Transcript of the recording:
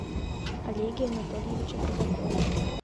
олеге анатольевиче казакове